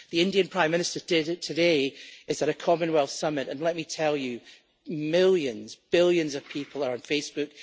The Indian Prime Minister today is at a Commonwealth summit, and let me tell you that millions billions of people are on Facebook